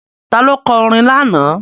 Ta ló kọ orin lánàá?